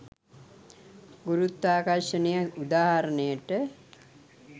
ගුරුත්වාකර්ෂණය උදාහරණයට